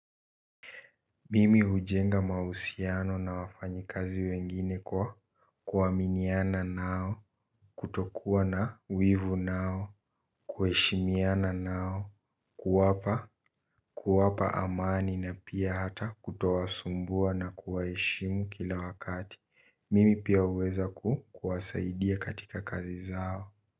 Mimi hujenga mahusiano na wafanyikazi wengine kwa kuaminiana nao. Kutokuwa na wivu nao kuheshimiana nao, kuwapa kuwapa amani na pia hata kutowasumbua na kuwaheshimu kila wakati. Mimi pia huweza kuwasaidia katika kazi zao.